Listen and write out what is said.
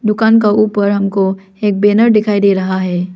दुकान का ऊपर हमको एक बैनर दिखाई दे रहा है।